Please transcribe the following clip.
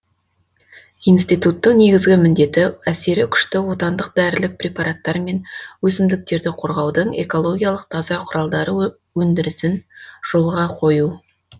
институттың негізгі міндеті әсері күшті отандық дәрілік препараттар мен өсімдіктерді қорғаудың экологиялық таза құралдары өндірісін жолға қою